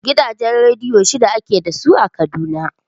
Gidajen rediyo shida ake da su a Kaduna.